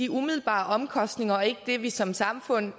umiddelbare omkostninger og ikke det vi som samfund